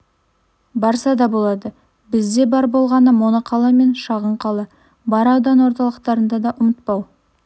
барса да болады бізде бар болғаны моноқала және шағын қала бар аудан орталықтарын да ұмытпау